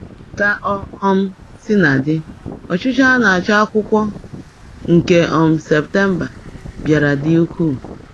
Ka o um sina dị, ọchịchọ a na-achọ akwụkwọ nke um September bịara dị ukwuu.